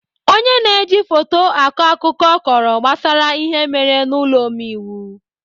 Ọnye na-eji foto akọ akụkọ kọrọ gbasara ihe mere n'ụlọ omeiwu.